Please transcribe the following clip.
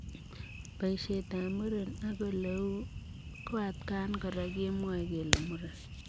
Boisiet ap muren ak oleu ko atakaan koraa kemwae kelee muren.